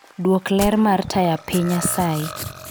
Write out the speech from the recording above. Dwok ler mr taya piny asayi